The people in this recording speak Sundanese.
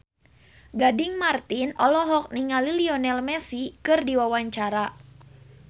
Gading Marten olohok ningali Lionel Messi keur diwawancara